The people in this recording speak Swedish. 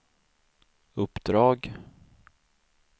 uppdrag